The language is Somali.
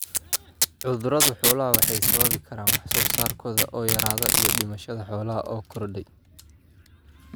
Cudurrada xooluhu waxay sababi karaan wax soo saarkooda oo yaraada iyo dhimashada xoolaha oo korodhay.